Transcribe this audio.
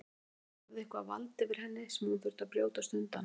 Hann hafði eitthvert vald yfir henni sem hún þurfti að brjótast undan.